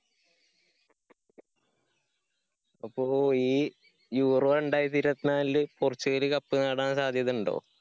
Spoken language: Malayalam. അപ്പോ ഈ ഈ യൂറോ രണ്ടായിരത്തി ഇരുപത്തിനാലില് പോര്‍ച്ചുഗല് cup നേടാന്‍ സാധ്യതയുണ്ടോ?